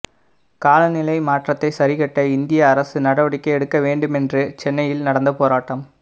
காலநிலை மாற்றத்தைச் சரிகட்ட இந்திய அரசு நடவடிக்கை எடுக்க வேண்டுமென்று சென்னையில் நடந்த போராட்டம்